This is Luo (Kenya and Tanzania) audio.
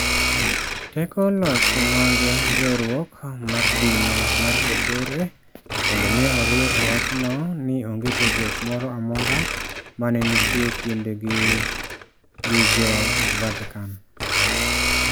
Teko loch mag riwruok mar din mar kopere bende ne oriw e wachno ni onge tudruok moro amora ma ne nitie e kindgi gi Jo Vatican.